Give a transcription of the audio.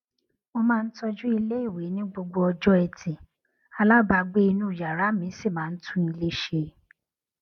mo máa ń tọjú iléìwè ní gbogbo ọjó ẹtì alábàágbé inú yàrá mi sì máa ń tún ilè ṣe